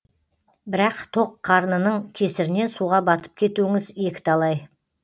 бірақ тоқ қарнының кесірінен суға батып кетуіңіз екі талай